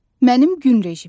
Mənim gün rejimim.